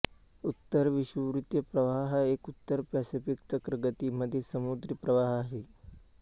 उत्तर विषुववृत्तीय प्रवाह हा एक उत्तर पॅसिफिक चक्रगती मधील समुद्री प्रवाह आहे